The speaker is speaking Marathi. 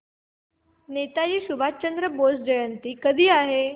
नेताजी सुभाषचंद्र बोस जयंती कधी आहे